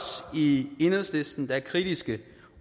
i enhedslisten der er kritiske